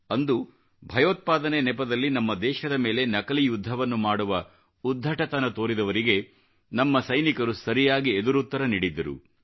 ಅಂದು ಭಯೋತ್ಪಾದನೆ ನೆಪದಲ್ಲಿ ನಮ್ಮ ದೇಶದ ಮೇಲೆ ನಕಲಿ ಯುದ್ಧವನ್ನು ಮಾಡುವ ಉದ್ಧಟತನ ತೋರಿದವರಿಗೆ ನಮ್ಮ ಸೈನಿಕರು ಸರಿಯಾಗಿ ಎದುರುತ್ತರ ನೀಡಿದ್ದರು